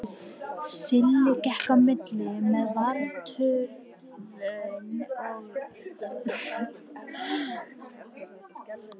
Silli gekk á milli með Varðturninn og var hrint.